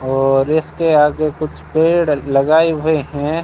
और इसके आगे कुछ पेड़ लगाए हुए हैं।